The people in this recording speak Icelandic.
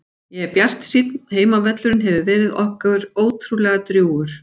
Ég er bjartsýnn, heimavöllurinn hefur verið okkur ótrúlega drjúgur.